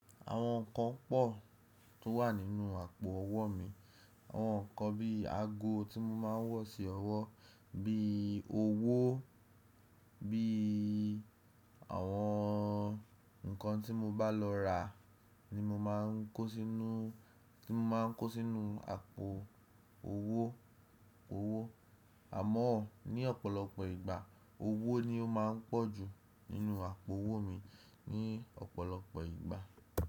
Àwọn nǹkan pọ̀ tó wà nínú àpò owó mi, àwọn nǹkan bí i ago tí mo máa ń wọ̀ sí ọwọ́, bí i owó, bí i àwọn nǹkan tí mo bá lọ rà ni mo máa ń kó sínú, tí mo máa ń kó sínú àpò owó, owó. Àamọ́ ní ọ̀pọ̀lọpọ̀ ìgbà owó ni ó máa ń pọ̀jù nínú àpò owó mi ní ọ̀pọ̀lọpọ̀ ìgbà.